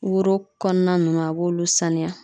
Woro kɔnɔna ninnu a b'olu sanuya